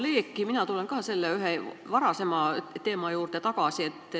Nagu kolleeg, tulen ka mina ühe varasema teema juurde tagasi.